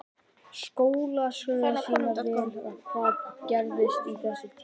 Skólaskýrslur sýna vel hvað er að gerast á þessum tíma.